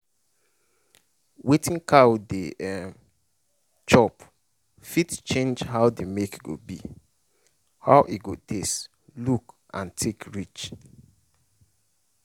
wetin cow dey um chop fit change how the milk go be how e go taste look and thick reach.